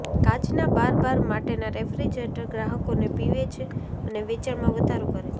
કાચના bar bar માટેના refrigerator ગ્રાહકોને પીવે છે અને વેચાણમાં વધારો કરે છે